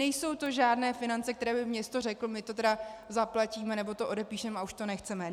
Nejsou to žádné finance, které by město řeklo: my to tedy zaplatíme, nebo to odepíšeme a už to nechceme.